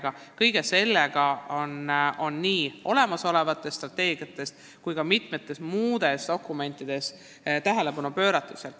Kas kõigele sellele on nii olemasolevates strateegiates kui ka mitmetes muudes dokumentides piisavalt tähelepanu pööratud?